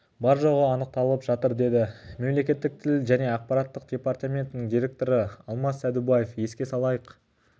бар жоғы анықталынып жатыр деді мемлекеттік тіл және ақпарат департаментінің директоры алмас сәдубаев еске салайық